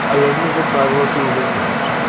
а я гляжу правила ты уже знаешь